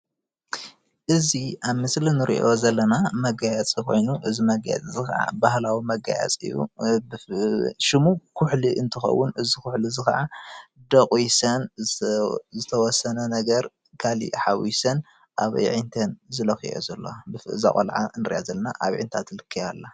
እዚ አብ ምስሊ እንሪኦ ዘለና መገያየፂ ኮይኑ እዚ መገያየፂ እዚ ከዓ ባህላዊ መገያየፂ እዩ። ሽሙ ኩሕሊ እንትኸዉን እዚ ኩሕሊ እዚ ከዓ ዶቒሰን ዝተወሰነ ነገር ካሊእ ሓዊሰን ኣብ ኣዕይንተን ዝለኽየኦ ዘለዋ እዛ ቆልዓ ንሪኣ ዘለና ኣብ ኣዕይንታ ትልከይ አላ